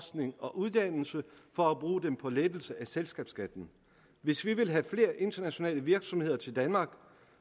uddannelse for at bruge dem på lettelse af selskabsskatten hvis vi vil have flere internationale virksomheder til danmark